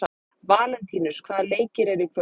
Valentínus, hvaða leikir eru í kvöld?